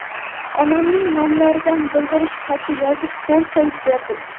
Onamning nomlaridan bildirish xati yozib, qo‘l qo‘yib berdim.